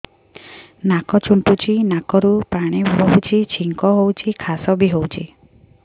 ନାକ ଚୁଣ୍ଟୁଚି ନାକରୁ ପାଣି ବହୁଛି ଛିଙ୍କ ହଉଚି ଖାସ ବି ହଉଚି